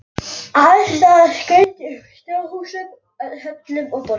Alls staðar skaut upp snjóhúsum, höllum og borgum.